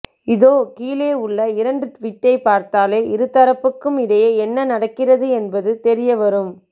இதோ கீழே உள்ள இரண்டு டுவிட்டை பார்த்தாலே இருதரப்புக்கும் இடையே என்ன நடக்கின்றது என்பது தெரிய வரும்